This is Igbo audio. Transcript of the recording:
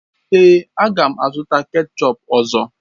Èé, a ga m azụta kechọp ọzọ